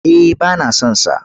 Eh ba na son sa.